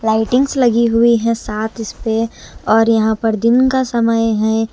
Lightings लगी हुई है साथ इस पे और यहां पर दिन का समय है।